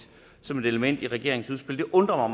som et element i regeringens udspil det undrer